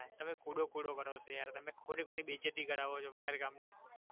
તમે કુડો કુડો કરો છો યાર તમે ખોટી ખોતી બેઈજ્જતી કરાવો છો વગર કામની